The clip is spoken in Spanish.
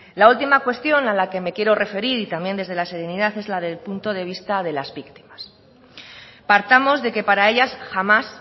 la última cuestión a la que me quiero referir y también desde la serenidad es la del punto de vista de las víctimas partamos de que para ellas jamás